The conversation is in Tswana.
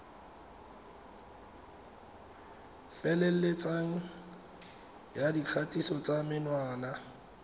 feleletseng ya dikgatiso tsa menwana